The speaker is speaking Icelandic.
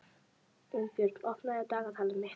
Unnbjörn, opnaðu dagatalið mitt.